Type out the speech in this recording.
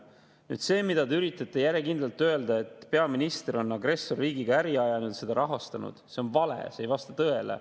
Nüüd, see, mida te üritate järjekindlalt öelda – et peaminister on agressorriigiga äri ajanud, seda rahastanud –, on vale, see ei vasta tõele.